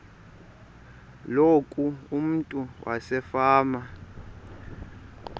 loku umntu wasefama